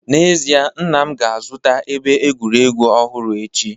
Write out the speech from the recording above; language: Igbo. N'ezie, nna m ga-azụta ebe egwuregwu ọhụrụ echi